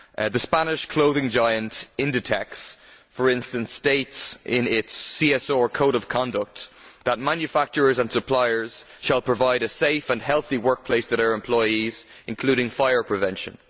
The Spanish clothing giant Inditex, for instance, states in its CSR code of conduct that manufacturers and suppliers shall provide a safe and healthy workplace for their employees, including fire prevention.